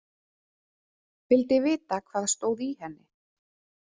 Vildi vita hvað stóð í henni.